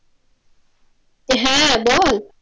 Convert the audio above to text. হ্যা বল।